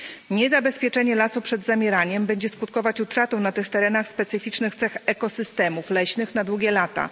Niezabezpieczenie lasów przed zamieraniem będzie skutkować utratą na tych terenach specyficznych cech ekosystemów leśnych na długie lata.